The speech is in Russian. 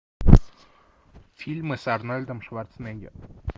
фильмы с арнольдом шварценеггером